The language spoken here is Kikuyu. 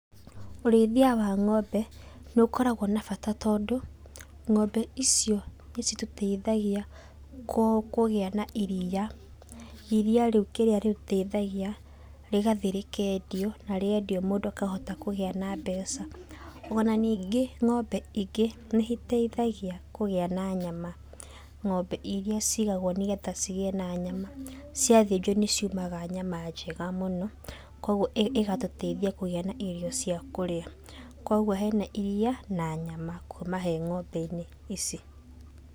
Ũrĩithia wa ngombe nĩ ũkoragwo na bata tondũ, ngombe icio nĩ citũteithagia kũgia na iria, iria rĩu kĩrĩa rĩteithagia, rĩgathiĩ rĩkendio, na riendio mũndũ akahota kũgĩa na mbeca. Ona ningĩ ngombe ingĩ nĩ iteithagia kũgĩa na nyama. Ngombe iria cigagwo nĩgetha cigĩe na nyama, ciathĩnjuo nĩ ciumaga nyama njega mũno, koguo igatũteithia kũgĩa na irio cia kũrĩa. Koguo hena iria na nyama, kuma he ngombe-inĩ ici.